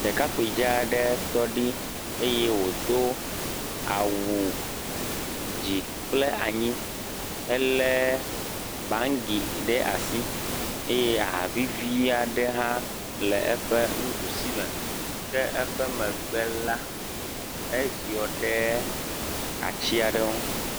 Ɖekakpui dzaa aɖe tɔ eye wòdo awu dzi kple anyi helé bangi ɖe asi eye ahavivi aɖe hã le eƒe nuɖusi me. Ke le eƒe megbe la eziɔ ɖe ati aɖe ŋu